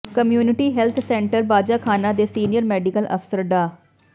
community health centre Bajakhana ਦੇ senior medical ਅਫਸਰ ਡਾ